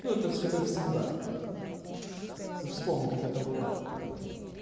ну это все как всегда мм ты уж вспомни как это бывает